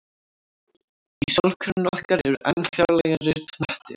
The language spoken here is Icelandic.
Í sólkerfinu okkar eru enn fjarlægari hnettir.